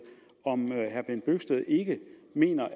om herre bent bøgsted ikke mener